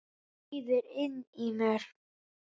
Það sýður inni í mér.